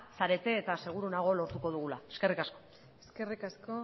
zarete eta seguru nago lortuko dugula eskerrik asko eskerrik asko